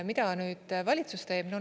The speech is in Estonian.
Mida valitsus teeb?